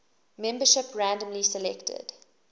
membership randomly selected